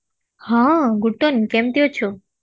ହଁ ଗୁଟନ କେମିତି ଅଛୁ